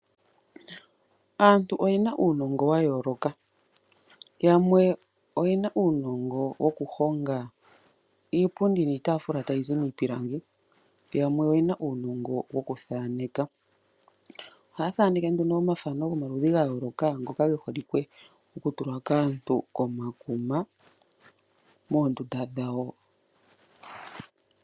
Aantu oye na uunongo wa yooloka. Yamwe oye na uunongo woku honga iipundi niitaafula tayi zi miipilangi, yamwe oye na uunongo wokuthaneka. Ohaya thaneke nduno omathano gomaludhi ga yooloka ngoka ge holike okutulwa kaantu komakuma moondunda dhawo.